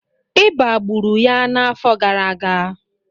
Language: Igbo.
ịba gburu ya n'afọ gara aga